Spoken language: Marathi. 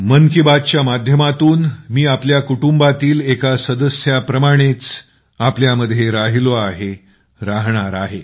मन की बात च्या माध्यमातून मी तुमच्या कुटुंबातील एका सदस्याप्रमाणेच तुमच्यामध्ये राहिलो आहे राहणार आहे